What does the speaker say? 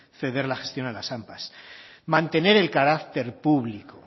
ceder la gestión a las ampa mantener el carácter público